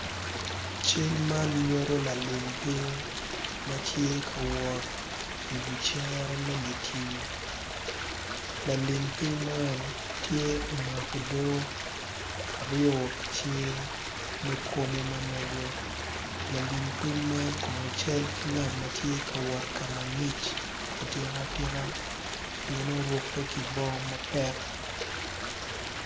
Cel man nyuttu lalim piny ma tye ka wot i wi cere me di tim lalim piny man, tye omako odoo aryo i cinge me komo ma mege lalim piny man cal ki ngat ma tye ka wot ka ngic atika tika pien orukke ki bongo ma pek